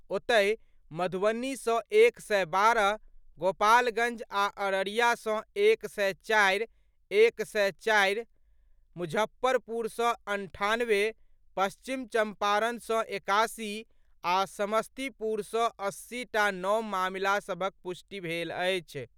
ओतहि, मधुबनी सँ एक सय बारह, गोपालगञ्ज आ अररिया सँ एक सय चारि एक सय चारि, मुजफ्फरपुर सँ अन्ठानवे, पश्चिम चम्पारण सँ एकासी आ समस्तीपुर सँ अस्सीटा नव मामिलासभक पुष्टि भेल अछि।